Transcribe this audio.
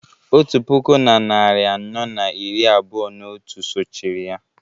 otu puku na narị anọ na iri abụọ na otu sochiri ya